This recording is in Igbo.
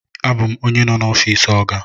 Abum onye no n'ofisi oga.